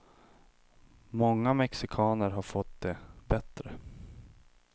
Många mexikaner har fått det bättre.